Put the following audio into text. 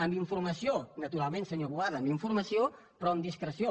amb informació naturalment senyor boada amb informació però amb discreció